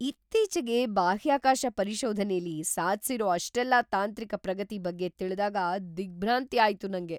ಇತ್ತೀಚೆಗೆ ಬಾಹ್ಯಾಕಾಶ ಪರಿಶೋಧನೆಲಿ ಸಾಧ್ಸಿರೋ ಅಷ್ಟೆಲ್ಲಾ ತಾಂತ್ರಿಕ ಪ್ರಗತಿ ಬಗ್ಗೆ ತಿಳ್ದಾಗ ದಿಗ್ಭ್ರಾಂತಿ ಆಯ್ತು‌ ನಂಗೆ.